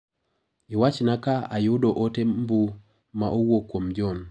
Iwachna ka ayudo ote mbu ma owuok kuom John.